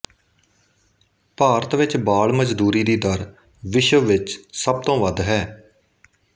ਭਾਰਤ ਵਿੱਚ ਬਾਲ ਮਜ਼ਦੂਰੀ ਦੀ ਦਰ ਵਿਸ਼ਵ ਵਿੱਚ ਸਭ ਤੋਂ ਵੱਧ ਹੈ